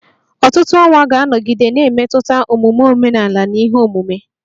Ọtụtụ ọnwa ga-anọgide na-emetụta omume omenala na ihe omume